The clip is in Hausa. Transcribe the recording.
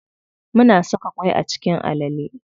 Muna saka ƙwai a cikin alale.